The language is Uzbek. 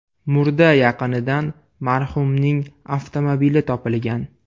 Murda yaqinidan marhumning avtomobili topilgan.